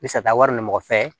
Misali taa wari ni mɔgɔ fɛ